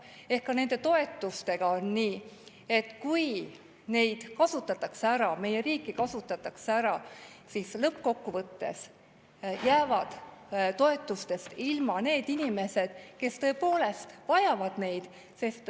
Ehk ka nende toetustega on nii, et kui neid kasutatakse ära, meie riiki kasutatakse ära, siis lõppkokkuvõttes jäävad toetustest ilma need inimesed, kes tõepoolest vajavad neid.